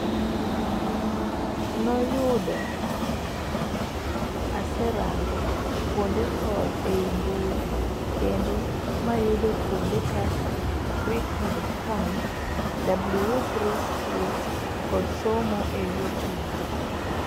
Noyudo ase rango kuonde code ei mbui kendo mayudo kuonde kaka FreeCodeCamp,w3schools kod somo e You Tube.